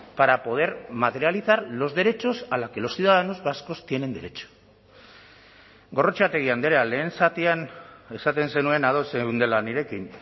para poder materializar los derechos a la que los ciudadanos vascos tienen derecho gorrotxategi andrea lehen zatian esaten zenuen ados zeundela nirekin